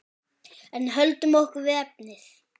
En höldum okkur við efnið.